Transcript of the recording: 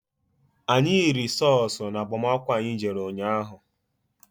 Anyị riri sọọsụ na agbamakwụkwọ anyị jere ụnyaahụ.